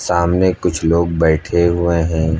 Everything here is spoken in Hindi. सामने कुछ लोग बैठे हुए हैं।